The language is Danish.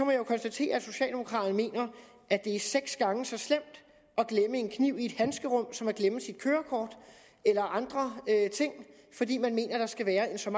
jeg jo konstatere at socialdemokraterne mener at det er seks gange så slemt at glemme en kniv i et handskerum som at glemme sit kørekort eller andre ting fordi man mener at der skal være en så